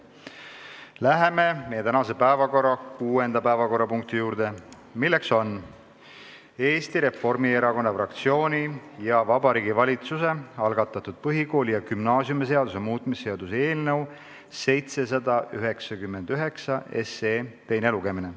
Läheme tänase päevakorra kuuenda punkti juurde, milleks on Eesti Reformierakonna fraktsiooni ja Vabariigi Valitsuse algatatud põhikooli- ja gümnaasiumiseaduse muutmise seaduse eelnõu 799 teine lugemine.